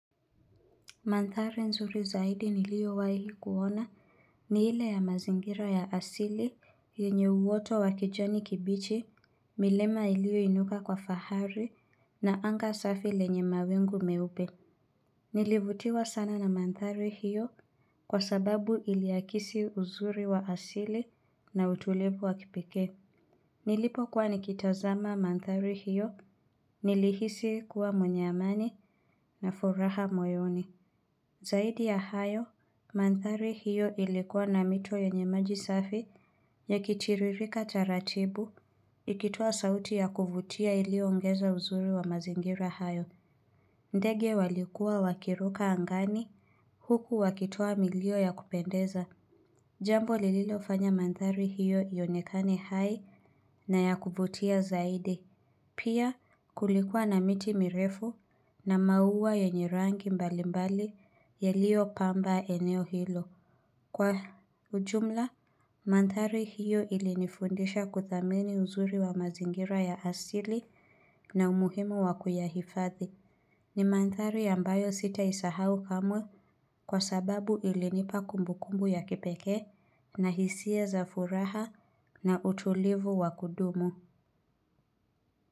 Manthari nzuri zaidi niliowahi kuona ni ile ya mazingira ya asili yenye uoto wa kijani kibichi, milema ilioinuka kwa fahari na anga safi lenye mawingu meupe. Nilivutiwa sana na manthari hiyo kwa sababu iliakisi uzuri wa asili na utulivu wa kipekee. Nilipokuwa nikitazama manthari hiyo nilihisi kuwa mwenye amani na furaha moyoni. Zaidi ya hayo, manthari hiyo ilikuwa na mito yenye maji safi yakitiririka taratibu, ikitoa sauti ya kuvutia iliyoongeza uzuri wa mazingira hayo. Ndege walikuwa wakiruka angani huku wakitoa milio ya kupendeza. Jambo lililofanya manthari hiyo yaonekane hai na ya kuvutia zaidi. Pia kulikuwa na miti mirefu na maua yenye rangi mbalimbali yaliyopamba eneo hilo. Kwa ujumla, manthari hiyo ilinifundisha kuthamini uzuri wa mazingira ya asili na umuhimu wa kuyahifadhi. Ni manthari ambayo sitaisahau kamwe kwa sababu ilinipa kumbukumbu ya kipekee na hisia za furaha na utulivu wa kudumu.